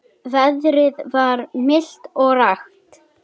Veðrið var milt og rakt.